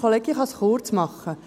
Ich kann es kurz machen.